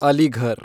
Aligarh